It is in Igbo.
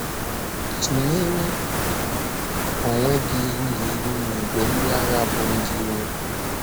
Tụ̀nyere onwe gị ihu n’ihu ìgwè ndị agha bụ́ ndị ìrò.